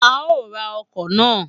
A o ra ọkọ na.